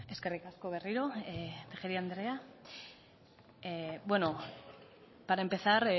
eskerrik asko berriro tejeria andrea bueno para empezar